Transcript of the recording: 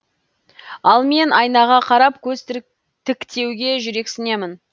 ал мен айнаға қарап көз тіктеуге жүрексінемін